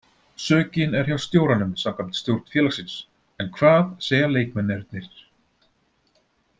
Sökin er hjá stjóranum samkvæmt stjórn félagsins en hvað segja leikmennirnir?